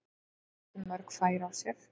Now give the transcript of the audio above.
Þeir gáfu ekki mörg færi á sér.